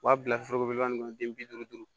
U b'a bila foroko nin kɔnɔ den bi duuru duuru